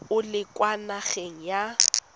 o le kwa nageng ya